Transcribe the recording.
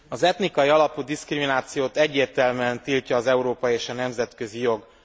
Az etnikai alapú diszkriminációt egyértelműen tiltja az Európai Unió és a nemzetközi jog.